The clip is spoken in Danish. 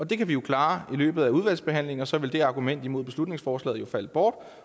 det kan vi afklare i løbet af udvalgsbehandlingen og så vil det argument imod beslutningsforslaget jo falde bort